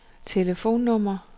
telefonnummer